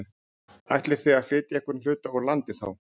Ætlið þið að flytja einhvern hluta úr landi þá?